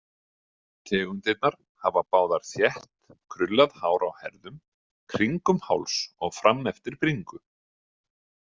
Tegundirnar hafa báðar þétt, krullað hár á herðum, kringum háls og frameftir bringu.